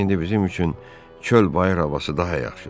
İndi bizim üçün çöl-bayır havası daha yaxşıdır.